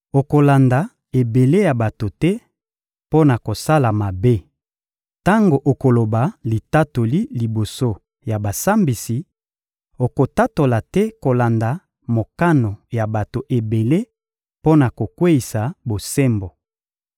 Okolanda ebele ya bato te mpo na kosala mabe. Tango okoloba litatoli liboso ya basambisi, okotatola te kolanda mokano ya bato ebele mpo na kokweyisa bosembo.